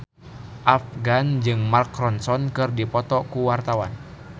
Afgan jeung Mark Ronson keur dipoto ku wartawan